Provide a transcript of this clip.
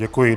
Děkuji.